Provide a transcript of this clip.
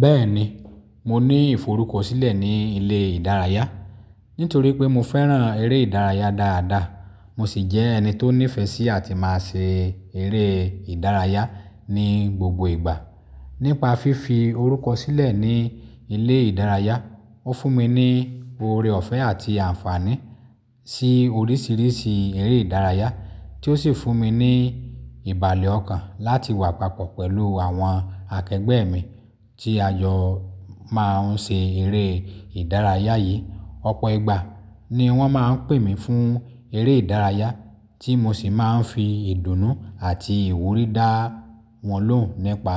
Bẹ́ẹ̀ni, mo ní ìforúkọ̀sílẹ̀ ní ilé ìdárayá. Nítorí pé mo fẹ́ràn eré ìdárayá dáadáa. Mo sì jẹ́ ẹni tó nífẹ̀ẹ́ sí àti máa ṣe eré ìdárayá ní gbogbo ìgbà. Nípa fífi orúkọ̀sílẹ̀ ní ilé ìdárayá, ó fún mi ní oore ọ̀fẹ́ àti àǹfààní sí oríṣiríṣi eré ìdárayá tí ó sì fún mi ní ìbàlẹ̀ ọkàn láti wà papọ̀ pẹ̀lú àwọn akẹgbẹ́ mi tí a jọ máa ń ṣe eré ìdárayá yìí. Ọ̀pọ̀ ìgbà ni wọ́n máa ń pè mí fún eré ìdárayá tí mo sì máa ń fi ìdùnnú àti ìwúrí dá wọn lóhùn nípa